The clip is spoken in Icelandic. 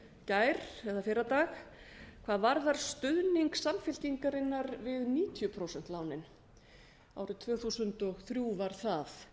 gær eða fyrradag hvað varðar stuðning samfylkingarinnar við níutíu prósent lánin árið tvö þúsund og þrjú var það